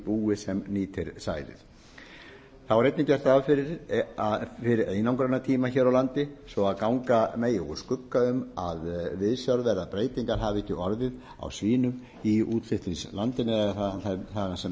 búi sem nýtir sæðið þá er einnig gert ráð fyrir einangrunartíma hér á landi svo að ganga megi úr skugga um að viðsjárverðar breytingar hafi ekki orðið á svínum í útflutningslandi þaðan sem